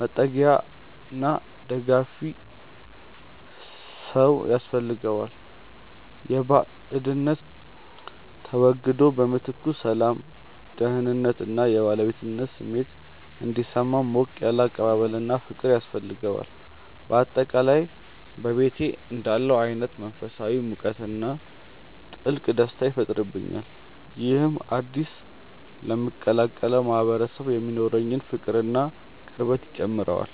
መጠጊያና ደጋፊ ሰው ያስፈልገዋል። የባዕድነት ስሜቱ ተወግዶ በምትኩ ሰላም፣ ደህንነት እና የባለቤትነት ስሜት እንዲሰማው ሞቅ ያለ አቀባበልና ፍቅር ያስፈልገዋል። በአጠቃላይ በቤቴ እንዳለሁ አይነት መንፈሳዊ ሙቀትና ጥልቅ ደስታ ይፈጥርብኛል። ይህም አዲስ ለምቀላቀለው ማህበረሰብ የሚኖረኝን ፍቅርና ቅርበት ይጨምረዋል።